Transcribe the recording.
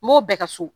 N b'o bɛɛ ka so